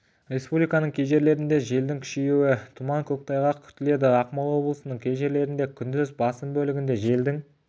республиканың кей жерлерінде желдің күшеюі тұман көктайғақ күтіледі ақмола облысының кей жерлерінде күндіз басым бөлігінде желдің